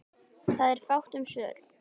Það er fátt um svör.